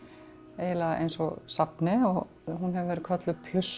eiginlega eins og safni og hún hefur verið kölluð